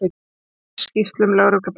Segir skýrslum lögreglu breytt